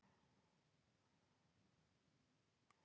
Konan mín fæddi ekki fyrr en viku seinna, hún var alltaf með lenjusótt.